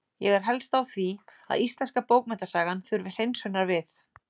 Ég er helst á því að íslenska bókmenntasagan þurfi hreinsunar við.